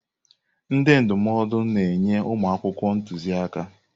Ndị ndụmọdụ na-enye ụmụ akwụkwọ ntuziaka.